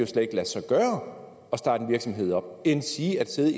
slet ikke lade sig gøre at starte en virksomhed op endsige at sidde i